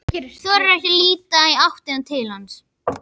Þorir ekki að líta í áttina til hans.